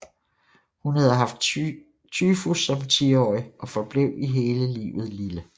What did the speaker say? Hun havde haft tyfus som tiårig og forblev hele livet lille